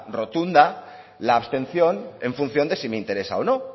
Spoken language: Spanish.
rotunda la abstención en función de si me interesa o no